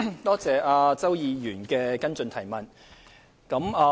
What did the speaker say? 多謝周議員的補充質詢。